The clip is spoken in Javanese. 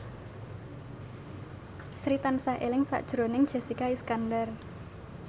Sri tansah eling sakjroning Jessica Iskandar